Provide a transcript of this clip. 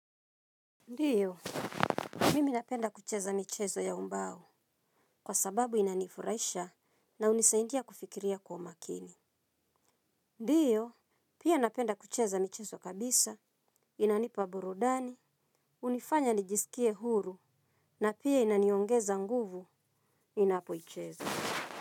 Ndio, mimi napenda kucheza michezo ya ubao kwa sababu inanifurahisha na hunisaidia kufikiria kwa umakini. Ndio, pia napenda kucheza michezo kabisa, inanipa burudani, hunifanya nijisikie huru na pia inaniongeza nguvu ninapoicheza.